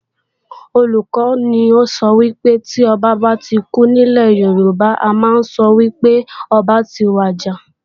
Olùkọ́ni sọ wípé, tí Ọba bá kú nílè Yorùbá, a ma ń sọ wípé ọba ti wàjà